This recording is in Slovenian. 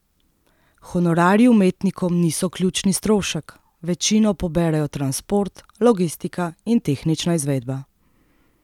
Honorarji umetnikom niso ključni strošek, večino poberejo transport, logistika in tehnična izvedba.